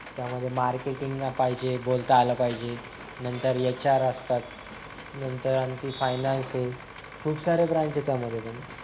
त्यामध्ये मार्केटिंग पाहिजे बोलता आल पाहिजे नंतर HR असतात नंतर आणखीन फायनान्स आहे खूप सारे ब्रांच आहे त्यामध्ये पण